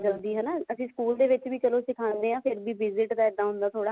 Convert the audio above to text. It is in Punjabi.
ਜਲਦੀ ਹਨਾ ਅਸੀਂ ਸਕੂਲ ਦੇ ਵਿੱਚ ਵੀ ਚਲੋ ਅਸੀਂ ਸਿਖਾਉਂਦੇ ਹਾਂ ਪਰ visit ਦਾ ਇੱਦਾਂ ਹੁੰਦਾ ਥੋੜਾ